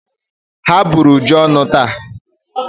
Ha bụrụ Uju ọnụ taa.